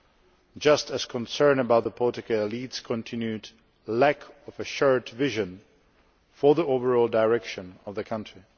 I am just as concerned about the political elite's continued lack of a shared vision for the overall direction of the country.